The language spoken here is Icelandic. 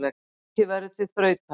Leikið verður til þrautar.